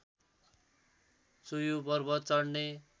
चोयु पर्वत चढ्ने